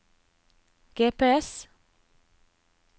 GPS